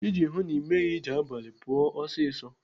Iji hụụ na Ị meghị ije abalị, pụọ ọsịsọ.